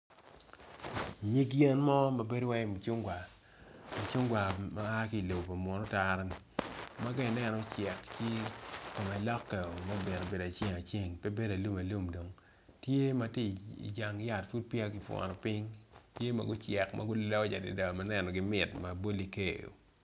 Nyig yen mo mabedo calo mucungwa, mucungwa ma aa kilobo munu otara ma ka ineno ocek ci kome loke o mebedo kede aceng aceng pe bedo alum alum tye matye i jang yat pud peya kuputo ping tye magucek magulony adada maneno gi mit maboli keo.